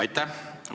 Aitäh!